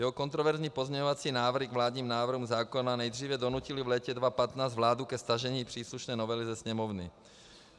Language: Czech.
Jeho kontroverzní pozměňovací návrhy k vládním návrhům zákona nejdříve donutily v létě 2015 vládu ke stažení příslušné novely ze Sněmovny.